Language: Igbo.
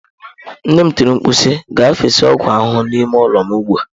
Nne m tiri mkpu si, gaa fesa ọgwụ ahụhụ n'ime ụlọ m ugbu a!